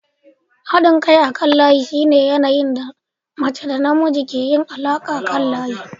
Haɗin kai akan layi shine yanayin da mace da namiji ke yin alaƙa akan layi.